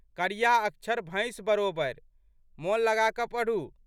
करिया अक्षर भैंस बरोबरि। मोन लगाकऽ पढ़ू।